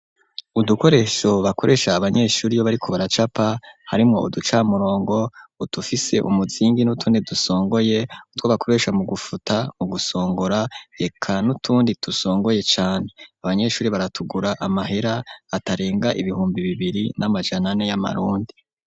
Udukoresho bakoresha abanyeshuri yo bari ku baracapa hari mwo uducamurongo udufise umuzingi n'utuni dusongoye kutwo bakoresha mu gufuta mu gusongora heka n'utundi dusongoye cane abanyeshuri baratugura amahera atarenga ibihumbi bibiri n'amajanane y'amarundi.